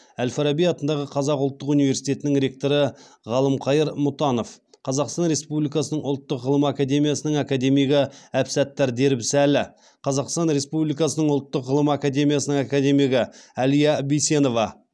әл фараби атындағы қазақ ұлттық университетінің ректоры ғалымқайыр мұтанов қазақстан республикасының ұлттық ғылым академиясының академигі әбсаттар дербісәлі қазақстан республикасының ұлттық ғылым академиясының академигі әлия бейсенова